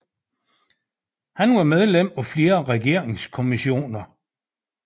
Han var medlem af flere regeringskommissioner